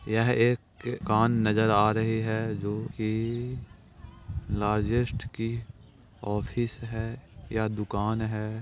यह एक कान नजर आ रही है जो की लार्जेस्ट की ऑफिस है यह दुकान है।